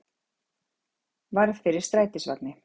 Varð fyrir strætisvagni